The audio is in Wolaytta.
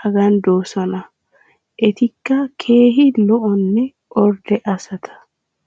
hagan doosona. etikka keehi lo'onne ordde asata.